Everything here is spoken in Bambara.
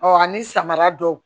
ani samara dɔw